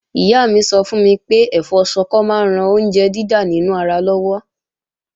Ìyá mi sọ fún mi pé ẹ̀fọ́ Ṣọkọ máa ń ran oúnjẹ dídà nínú ara lọ́wọ́